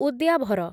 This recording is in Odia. ଉଦ୍ୟାଭର